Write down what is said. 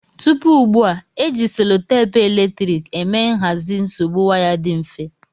Tupu ugbua, e ji selotepu eletrik eme nhazi nsogbu waya dị mfe.